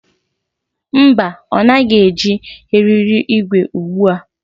Mba, ọ naghị eji eriri igwe ugbu a.